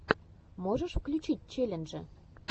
можешь включить челленджи